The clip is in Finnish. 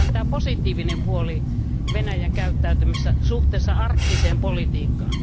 Nähdään tämä positiivinen puoli Venäjän käyttäytymisessä suhteessa arktiseen politiikkaan.